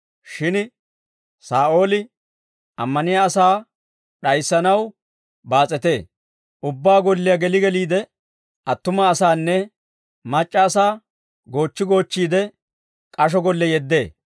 Shin Saa'ooli ammaniyaa asaa d'ayissanaw baas'etee; ubbaa golliyaa geli geliide, attuma asaanne mac'c'a asaa goochchi goochchiide, k'asho golle yeddee.